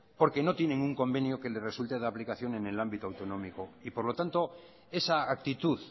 porque no tienen un convenio que les resulte de aplicación en el ámbito autonómico y por lo tanto esa actitud